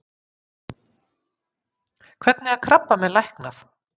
Hvernig er krabbamein læknað?